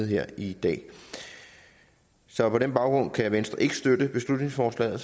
her i dag så på den baggrund kan venstre ikke støtte beslutningsforslaget og